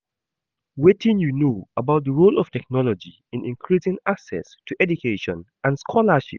wetin you know about di role of technology in increasing access to education and scholarships?